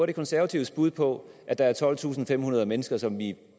er konservatives bud på at der er tolvtusinde og femhundrede mennesker som vi